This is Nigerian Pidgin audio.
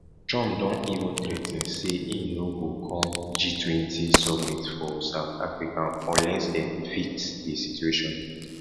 trump don even threa ten say e no go come g20 summit for south africa unless dem fix di situation